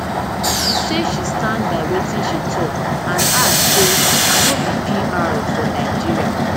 say say she stand by wetin she tok and add say i no be pr for nigeria